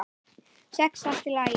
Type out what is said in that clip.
Sex allt í lagi.